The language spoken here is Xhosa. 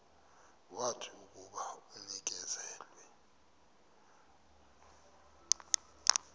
wathi akuba enikezelwe